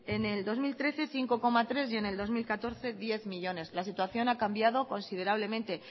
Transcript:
en el dos mil trece cinco coma tres y en el dos mil catorce diez millónes la situación ha cambiado considerablemente